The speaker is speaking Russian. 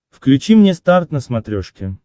включи мне старт на смотрешке